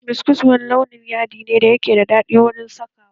Biskos wani launin yaɗi ne da ke da daɗin saka wa